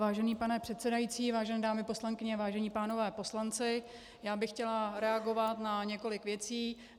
Vážený pane předsedající, vážené dámy poslankyně, vážen pánové poslanci, já bych chtěla reagovat na několik věcí.